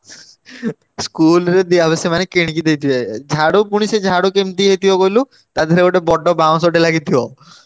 School ରେ ଦିଆହବ। ସେମାନେ କିଣିକି ଦେଇଥିବେ। ଝାଡୁ ପୁଣି ସେ ଝାଡୁ କେମିତି ହେଇଥିବ କହିଲୁ ତା ଧିଅରେ ଗୋଟେ ବଡ ବାଉଁଶଟେ ଲାଗିଥିବ।